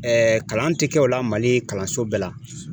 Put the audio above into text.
kalan ti kɛ o la mali kalanso bɛɛ la